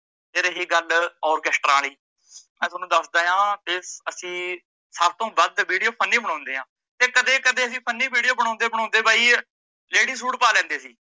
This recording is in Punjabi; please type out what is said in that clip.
ਤੇ ਰਹੀ ਗੱਲ ਆਓਰਕੇਸਟਰਾਂ ਆਲੀ, ਮੈ ਤੁਹਾਨੂੰ ਦੱਸਦਾ ਆ ਕੀ ਅਸੀਂ ਸੱਭ ਤੋਂ ਵੱਧ video funny ਬਣਾਉਂਦੇ ਆ, ਤੇ ਕਦੇ ਕਦੇ ਅਸੀਂ funny video ਬਣਾਉਂਦੇ ਬਣਾਉਂਦੇ ਬਾਈ lady ਸੂਟ ਪਾ ਲੈਂਦੇ ਸੀ।